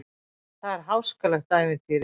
Það er háskalegt ævintýri.